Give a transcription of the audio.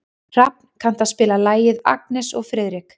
Hrafn, kanntu að spila lagið „Agnes og Friðrik“?